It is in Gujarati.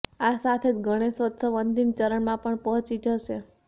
આ સાથે જ ગણેશોત્સવ અંતિમ ચરણમાં પણ પહોંચી જશે